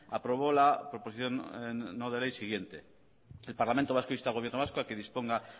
aprobó la proposición no de ley siguiente el parlamento vasco insta al gobierno vasco a que disponga